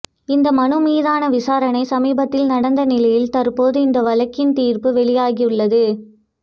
இந்த மனு மீதான விசாரணை சமீபத்தில் நடந்த நிலையில் தற்போது இந்த வழக்கின் தீர்ப்பு வெளியாகியுள்ளது